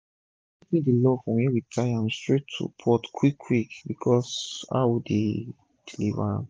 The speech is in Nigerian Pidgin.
our goat meat dey love from were we tie am straight to pot quick quick becos of how we dey deliver am